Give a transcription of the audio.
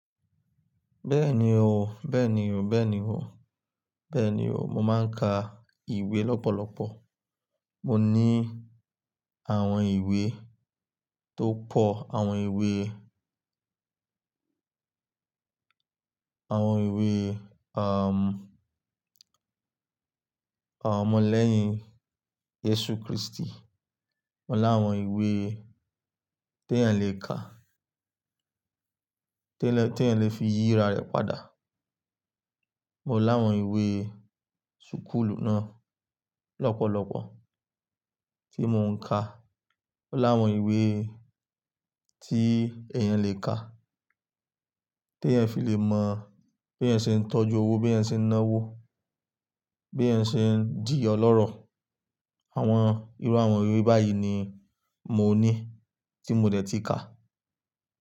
Bẹ́ẹ̀ni o, bẹ́ẹ̀ni o, bẹ́ẹ̀ni o, bẹ́ẹ̀ni o. Mo máa ń ka ìwé lọ́pọ̀lọpọ̀. Mo ní àwọn ìwé tó pọ̀, àwọn ìwé, àwọn ìwé, awọn ọmọ lẹ́yìn jesu Kristi. Mo láwọn ìwé tí èèyàn lè kà, tí èèyàn lè fi yíra rẹ̀ padà. Mo láwọn ìwé súkúlù náà lọ́pọ̀lọpọ̀ tí mo ń ka. Mo láwọn ìwé tí èèyàn lè ka, tí èèyàn fi lè mọ̀ bí èèyàn ṣe ń tọ́jú owó, bí èèyàn ṣe ń ná owó, bí èèyàn ṣe ń dì ọlọ́rọ̀. Àwọn irú àwọn ìwé báyìí ni mo ní tí mo dẹ̀ ti ka.